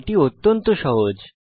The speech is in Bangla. এটি অত্যন্ত সহজ